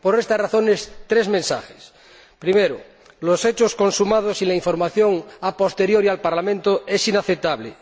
Por estas razones, tres mensajes primero, los hechos consumados y la información a posteriori al Parlamento son algo inaceptable